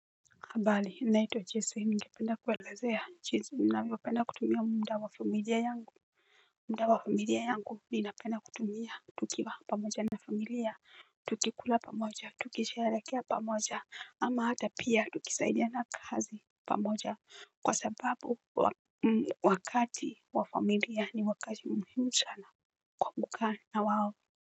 Habali naitwa jesu ningependa kuwaelezea jinsi ninavyo penda kutumia muda wa familia yangu. Muda wa familia yangu ninapenda kutumia tukiwa pamoja na familia. Tukikula pamoja tukisherehekea pamoja ama hata pia tukisaidiana kazi pamoja kwa sababu wakati wa familia ni wakati muhimu sana kwa kukaa nao.